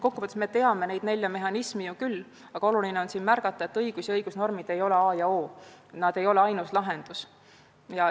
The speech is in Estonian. Kokku võttes me teame neid nelja mehhanismi ju küll, aga oluline on teada, et õigus ja õigusnormid ei ole A ja O, need ei ole ainus lahendus.